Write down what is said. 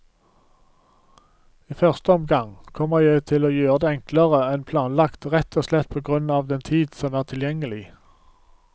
I første omgang kommer jeg til å gjøre det enklere enn planlagt rett og slett på grunn av den tid som er tilgjengelig.